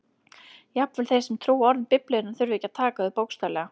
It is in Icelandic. Jafnvel þeir sem trúa orðum Biblíunnar þurfa ekki að taka þau bókstaflega.